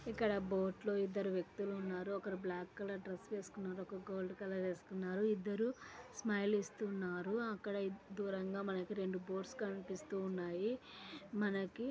ఇక్కడ బోట్ లో ఇద్దరు వ్యక్తులున్నారు. ఒకరు బ్లాక్ కలర్ డ్రెస్ వేసుకున్నారు. ఒకరు గోల్డ్ కలర్ వేసుకున్నారు. ఇద్దరూ స్మైల్ ఇస్తున్నారు. అక్కడ ఆ దూరంగా మనకు రెండు బోట్స్ కనిపిస్తూ ఉన్నాయ్ మనకి.